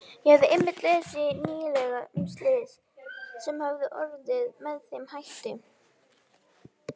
Ég hafði einmitt lesið nýlega um slys sem hafði orðið með þeim hætti.